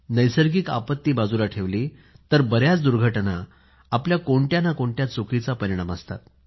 नैसर्गिक आपत्ती बाजूला ठेवली तर बऱ्याच दुर्घटना आपल्या कोणत्या ना कोणत्या चुकीचा परिणाम असतात